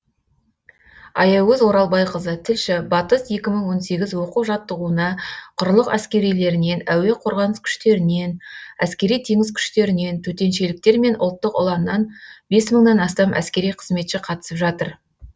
аягөз оралбайқызы тілші батыс екі мың он сегіз оқу жаттығуына құрлық әскерилерінен әуе қорғаныс күштерінен әскери теңіз күштерінен төтеншеліктер мен ұлттық ұланнан бес мыңнан астам әскери қызметші қатысып жатыр